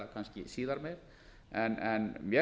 herra forseti að sjálfsögðu tel ég